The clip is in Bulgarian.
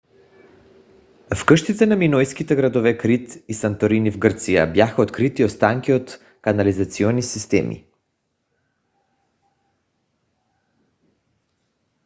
в къщите на минойските градове крит и санторини в гърция бяха открити останки от канализационни системи